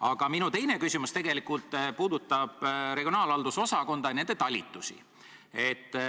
Aga minu teine küsimus tegelikult puudutab regionaalhalduse osakonda ja selle talitusi.